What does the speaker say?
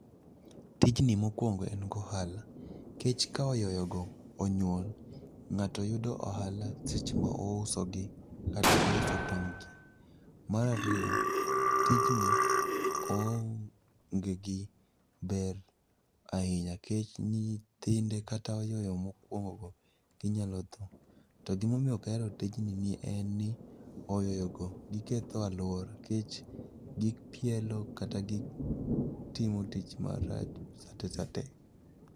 Tijni mokwongo en gohala kech ka oyoyo go onyuol, ng'ato yudo ohala seche ma ouso gi kata ouso tong' gi. Marariyo, tijni oonge gi ber ahinya kech nyithinde kata oyoyo mokwongo go ginyalo tho. To gimomiyo ok ahero tijni ni en ni oyoyo go giketho alwora kech gipielo kata gitimo tich marach sate sate.